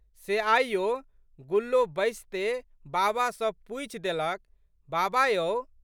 से आइयो गुल्लो बैसिते बाबा सँ पूछि. देलक, बाबा यौ!